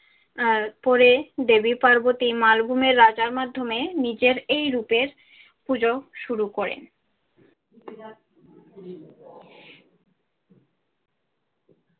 আহ পরে দেবী পার্বতী মালভূমের রাজার মাধ্যমে নিজের এই রূপের পুজো শুরু করেন।